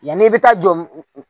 Yan'i bɛ taa jɔ